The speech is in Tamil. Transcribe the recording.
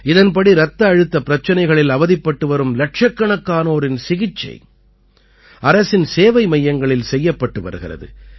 இதன்படி இரத்த அழுத்த பிரச்சனைகளில் அவதிப்பட்டு வரும் இலட்சக்கணக்கானோரின் சிகிச்சை அரசின் சேவை மையங்களில் செய்யப்பட்டு வருகிறது